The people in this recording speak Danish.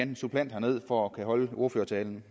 en suppleant herned for at kunne holde ordførertalen